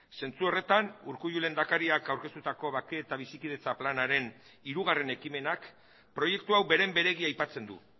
zentzu horretan urkullu lehendakariak aurkeztutako bake eta bizikidetza planaren hirugarren ekimenak proiektu hau beren beregi aipatzen du